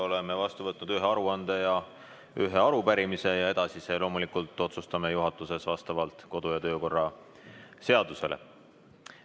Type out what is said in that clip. Oleme vastu võtnud ühe aruande ja ühe arupärimise ning edasise otsustame juhatuses vastavalt kodu- ja töökorra seadusele.